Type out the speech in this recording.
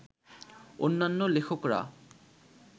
অন্যান্য লেখকরা